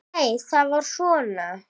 Nei, það var svona!